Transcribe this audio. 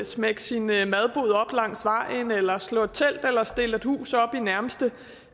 smække sin madbod op langs vejen eller slå et telt eller stille et hus op i den nærmeste